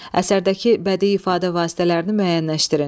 Əsərdəki bədii ifadə vasitələrini müəyyənləşdirin.